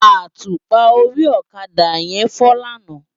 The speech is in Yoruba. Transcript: Átúpá óri òkadá yèn fò làná